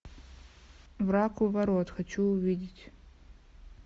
враг у ворот хочу увидеть